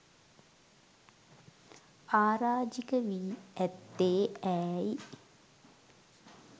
අරාජික වී ඈත්තේ ඈයි?